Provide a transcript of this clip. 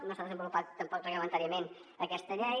no s’ha desenvolupat tampoc reglamentàriament aquesta llei